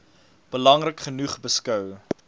belangrik genoeg beskou